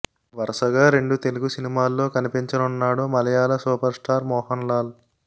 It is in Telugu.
వరసగా రెండు తెలుగు సినిమాల్లో కనిపించనున్నాడు మలయాళ సూపర్ స్టార్ మోహన్ లాల్